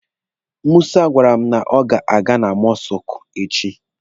Musa gwara m na ọ ga-aga na mọsụkụ echi.